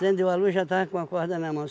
Acendeu a luz, já estava com a corda na mão.